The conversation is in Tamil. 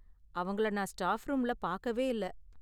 அவங்கள நான் ஸ்டாப் ரூம்ல பாக்கவே இல்ல.